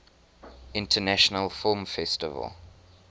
international film festival